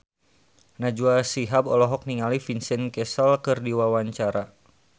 Najwa Shihab olohok ningali Vincent Cassel keur diwawancara